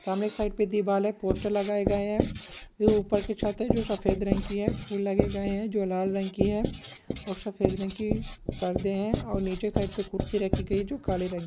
सामने की साइड दीवाल है पोस्टर लगाये गए है ये ऊपर की छत है जो सफ़ेद रंग की है फूल लगे गए है जो लाल रंग की है और सफ़ेद रंग की पर्दे है और नीचे साइड पे कुर्सी राखी गई है जो काले रंग--